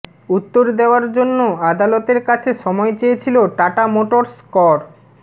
উত্তর দেওয়ার জন্য আদালতের কাছে সময় চেয়েছিল টাটা মোটর্স কর